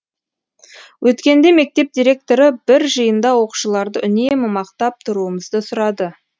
өткенде мектеп директоры бір жиында оқушыларды үнемі мақтап тұруымызды сұрады